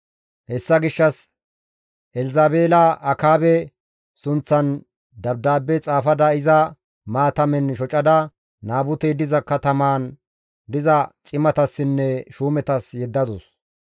Hessa gishshas Elzabeela Akaabe sunththan dabdaabbe xaafada iza maatamen shocada Naabutey diza katamaan diza cimatassinne shuumetas yeddadus.